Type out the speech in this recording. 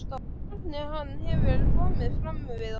Hvernig hann hefur komið fram við okkur.